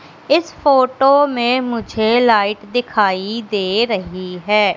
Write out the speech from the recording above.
इस फोटो में मुझे लाइट दिखाई दे रही है।